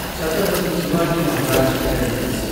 Chhatrapati Shivaji Maharaj terminus